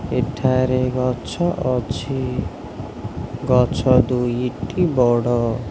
ଏଠାରେ ଗଛ ଅଛି ଗଛ ଦୁଇଟି ବଡ଼।